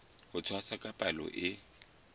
ho tshwasa ka palo e